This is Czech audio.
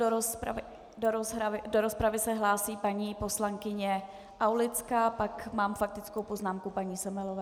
Do rozpravy se hlásí paní poslankyně Aulická, pak mám faktickou poznámku paní Semelové.